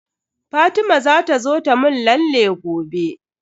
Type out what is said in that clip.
Fatima za ta zo ta mun lalle gobe.